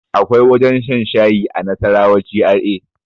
Akwai wajen shan shayi a nasarawa GRA